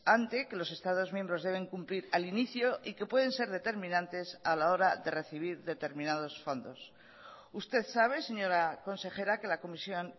ante que los estados miembros deben cumplir al inicio y que pueden ser determinantes a la hora de recibir determinados fondos usted sabe señora consejera que la comisión